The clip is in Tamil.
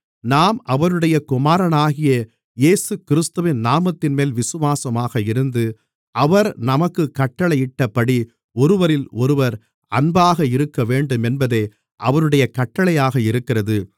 நாம் அவருடைய குமாரனாகிய இயேசுகிறிஸ்துவின் நாமத்தின்மேல் விசுவாசமாக இருந்து அவர் நமக்குக் கட்டளையிட்டபடி ஒருவரிலொருவர் அன்பாக இருக்கவேண்டுமென்பதே அவருடைய கட்டளையாக இருக்கிறது